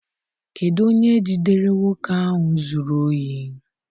Kedụ onye jidere nwoke ahụ zụrụ ohi?